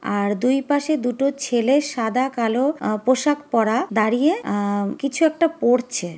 আর দুই পাশে দুটো ছেলে সাদা কালো আহ পোশাক পরা দাঁড়িয়ে আহ কিছু একটা পড়ছে।